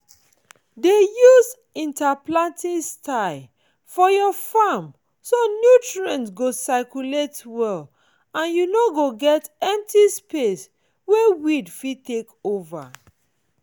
dey use interplanting style for your farm so nutrients go circulate well and you no go get empty space wey weed fit take over